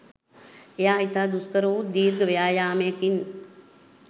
එය ඉතා දුෂ්කරවුත් දිර්ඝ ව්‍යායාමයකින්